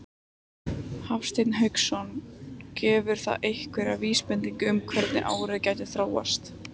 Hafsteinn Hauksson: Gefur það einhverja vísbendingu um það hvernig árið gæti þróast?